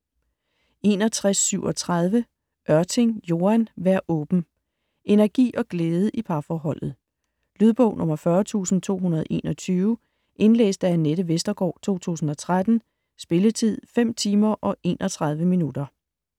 61.37 Ørting, Joan: Vær åben Energi og glæde i parforholdet. Lydbog 40221 Indlæst af Anette Vestergaard, 2013. Spilletid: 5 timer, 31 minutter.